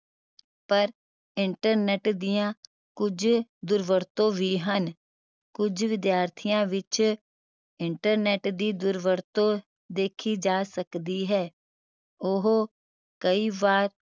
ਪਰ internet ਦੀਆਂ ਕੁਝ ਦੁਰਵਰਤੋਂ ਵੀ ਹਨ ਕੁਝ ਵਿਦਿਆਰਥੀਆਂ ਵਿਚ internet ਦੀ ਦੁਰਵਰਤੋਂ ਦੇਖੀ ਜਾ ਸਕਦੀ ਹੈ ਉਹ ਕਈ ਵਾਰ